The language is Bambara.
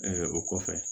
o kɔfɛ